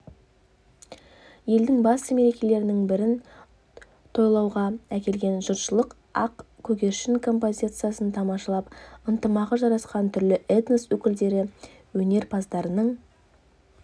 елдің басты мерекелерінің бірін тойлауғакелген жұртшылық ақ көгершін композициясын тамашалап ынтымағы жарасқан түрлі этнос өкілдері өнерпаздарының